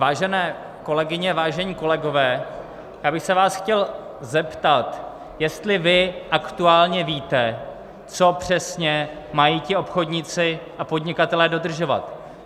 Vážené kolegyně, vážení kolegové, já bych se vás chtěl zeptat, jestli vy aktuálně víte, co přesně mají ti obchodníci a podnikatelé dodržovat.